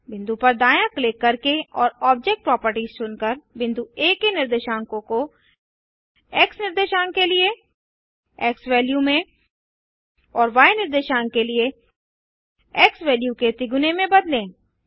बिंदु पर दायाँ क्लिक करके और ऑब्जेक्ट प्रॉपर्टीज चुनकर बिंदु आ के निर्देशांकों को एक्स निर्देशांक के लिए एक्सवैल्यू में और य निर्देशांक के लिए एक्सवैल्यू के तिगुने में बदलें